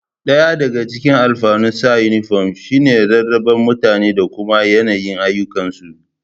Ɗaya daga cikin alfanun sanya inifom shi ne rarrabe mutane da kuma yanayin ayyukansu